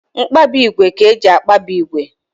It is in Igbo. Mkpabi ígwè ka eji akpabi ígwè